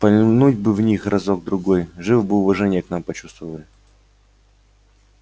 пальнуть бы в них разок другой живо бы уважение к нам почувствовали